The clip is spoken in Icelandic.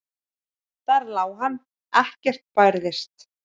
Þar lá hann, ekkert bærðist.